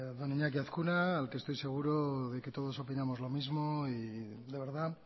don iñaki azkuna al que estoy seguro de que todos opinamos lo mismo y de verdad